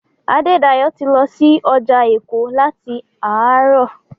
Adédayọ̀ ti lọ sí ọjà Èkó láti àárọ̀.